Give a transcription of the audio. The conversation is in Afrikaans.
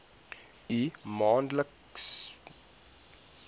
u maandelikse bydraes